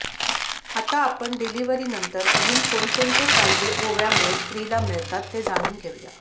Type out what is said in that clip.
आता आपण डिलिव्हरी नंतर अजून कोणकोणते फायदे ओव्यामुळे स्त्रीला मिळतात ते जाणून घेऊया